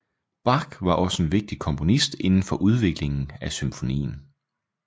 Bach var også en vigtig komponist indenfor udviklingen af symfonien